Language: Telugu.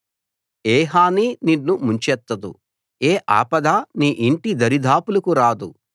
ఏ హానీ నిన్ను ముంచెత్తదు ఏ ఆపదా నీ ఇంటి దరిదాపులకు రాదు